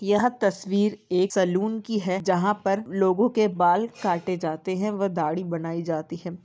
यह तस्वीर एक सलून की है जहाँ पर लोगो के बाल काटे जाते हैं व दाढ़ी बनाई जाती है।